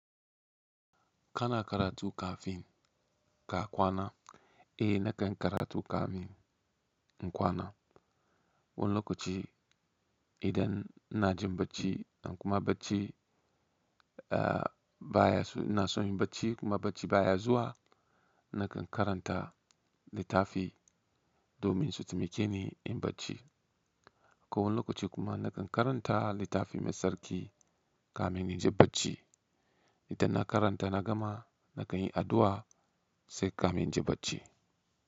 Kana karatu kafin ka kwana? Eh nakan yi karatu kamin in kwana. Wani lokaci idan ina jin bacci kuma bacci, eh baya su na son yin bacci kuma bacci baya zuwa nakan karanta littafi domin su taimake ni in bacci. Wani lokaci kuma nakan karanta littafi mai sarki kamin in je bacci. Idan na karanta na gama nakan yi addu'a sai kamin in ji bacci.